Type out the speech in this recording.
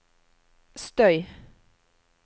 støy